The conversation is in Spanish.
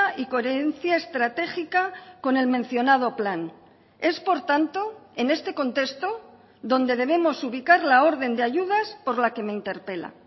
y coherencia estratégica con el mencionado plan es por tanto en este contexto donde debemos ubicar la orden de ayudas por la que me interpela